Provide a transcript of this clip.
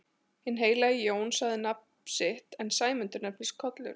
Hinn heilagi Jón sagði sitt nafn en Sæmundur nefndist Kollur.